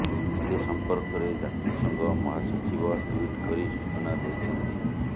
ଏ ସମ୍ପର୍କରେ ଜାତିସଂଘ ମହାସଚିବ ଟ୍ବିଟ୍ କରି ସୂଚନା ଦେଇଛନ୍ତି